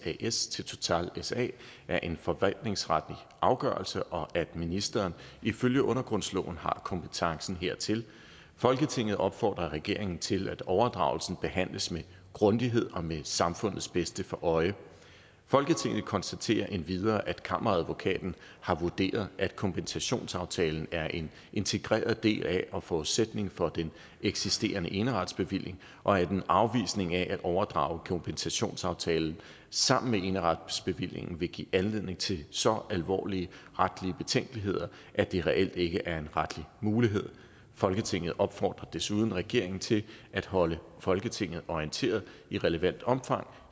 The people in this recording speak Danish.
as til total sa er en forvaltningsretlig afgørelse og at ministeren ifølge undergrundsloven har kompetencen hertil folketinget opfordrer regeringen til at overdragelsen behandles med grundighed og med samfundets bedste for øje folketinget konstaterer endvidere at kammeradvokaten har vurderet at kompensationsaftalen er en integreret del af og forudsætning for den eksisterende eneretsbevilling og at en afvisning af at overdrage kompensationsaftalen sammen med eneretsbevillingen vil give anledning til så alvorlige retlige betænkeligheder at det reelt ikke er en retlig mulighed folketinget opfordrer desuden regeringen til at holde folketinget orienteret i relevant omfang